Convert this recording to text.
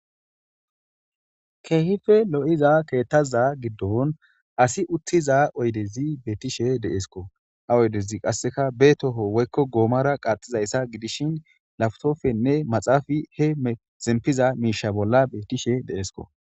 keehife lo'iza keettaza giddon asi uttiza oydezi beettishe deesko. Ha oydezi qasseka be toho woykko goomara qaaxizayssa gidishin laftofenne maxaafi he zempiza miisha bolla bettishe deesko.